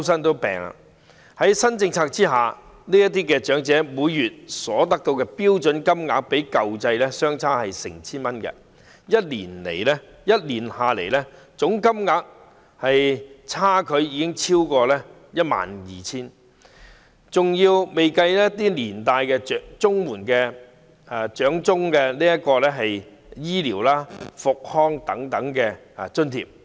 在新政策下，這些長者每月所獲發的標準金額較舊制相差 1,000 元；一年下來，總金額便相差逾 12,000 元，這還未計算長者綜援附帶的一些醫療和復康等津貼。